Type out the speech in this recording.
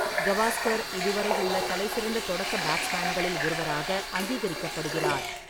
கவாஸ்கர் இதுவரையுள்ள தலைசிறந்த தொடக்க பேட்ஸ்மேன்களில் ஒருவராக அங்கீகரிக்கப்படுகிறார்.